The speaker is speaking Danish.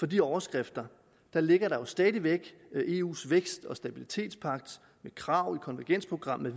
de overskrifter ligger stadig væk eus vækst og stabilitetspagt med krav i konvergensprogrammet